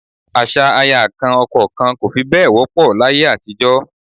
Àṣà aya kan ọkọ kan kò fi bẹ́ẹ̀ wọ́pọ̀ láyé àtijọ́